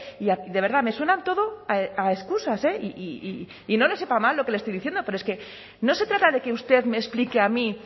y de verdad me suenan todo a excusas y no le sepa mal lo que le estoy diciendo pero es que no se trata de que usted me explique a mí